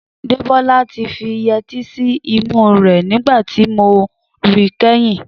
Dẹ́bọ́lá ti fi yẹtí sí imú rẹ̀ nígbà tí mo rí kẹ́yìn